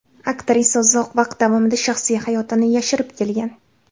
Aktrisa uzoq vaqt davomida shaxsiy hayotini yashirib kelgan.